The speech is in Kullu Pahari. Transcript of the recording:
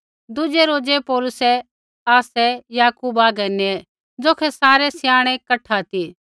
दुज़ै रोज़ै पौलुसै आसै याकूबा आगै नेऐ ज़ौखै सारै स्याणै कठा ती